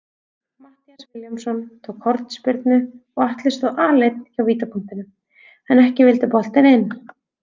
Matthías Vilhjálmsson tók hornspyrnu og Atli stóð aleinn hjá vítapunktinum, en ekki vildi boltinn inn.